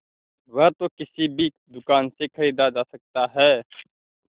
वह तो किसी भी दुकान से खरीदा जा सकता है